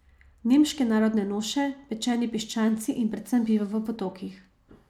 Nemške narodne noše, pečeni piščanci in predvsem pivo v potokih.